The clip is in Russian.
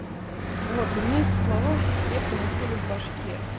вот и мне эти слова крепко засели в башке